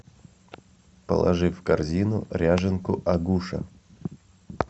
положи в корзину ряженку агуша